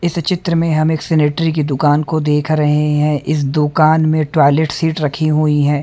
इस चित्र में हमें एक सिनेटरी की दुकान को देख रहे है इस दुकान में टॉयलेट सीट रखी हुई है।